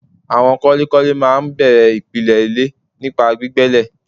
Àwọn kọ́lékọ́lé máa n bèrè ìpìlè ilé nípa gbígbẹ ilè